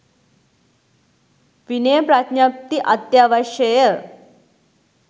විනය ප්‍රඥප්ති අත්‍යවශ්‍යය.